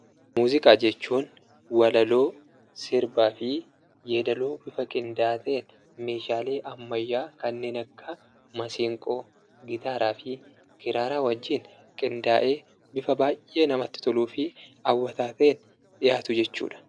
Muuziqaa jechuun walaloo, sirbaa fi yeedaloo bifa qindaa'aa ta'een meeshaalee ammayyaa kanneen akka maseenqoo, gitaaraa fi kiraaraa wajjin qindaa'ee bifa baay'ee namatti toluu fi hawwataa ta'ee dhiyaatu jechuudha.